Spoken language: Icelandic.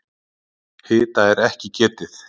Hita er ekki getið.